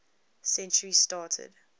century started